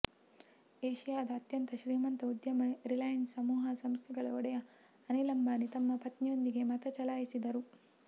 ಏಷಿಯಾದ ಅತ್ಯಂತ ಶ್ರೀಮಂತ ಉದ್ಯಮಿ ರಿಲಯನ್ಸ್ ಸಮೂಹ ಸಂಸ್ಥೆಗಳ ಒಡೆಯ ಅನಿಲ್ ಅಂಬಾನಿ ತಮ್ಮ ಪತ್ನಿಯೊಂದಿಗೆ ಮತ ಚಲಾಯಿಸಿದರು